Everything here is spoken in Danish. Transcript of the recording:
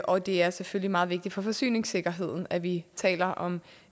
og det er selvfølgelig meget vigtigt for forsyningssikkerheden at vi taler om